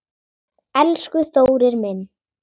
Elsku Þórir minn.